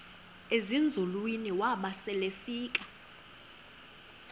ezinzulwini waba selefika